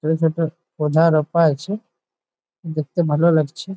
রাখা আছে দেখতে ভালো লাগছে ।